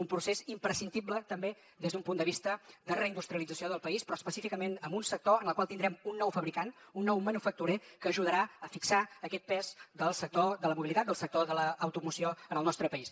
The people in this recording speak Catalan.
un procés imprescindible també des d’un punt de vista de reindustrialització del país però específicament amb un sector en el qual tindrem un nou fabricant un nou manufacturer que ajudarà a fixar aquest pes del sector de la mobilitat del sector de l’automoció en el nostre país